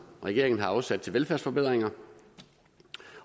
regeringen har afsat til velfærdsforbedringer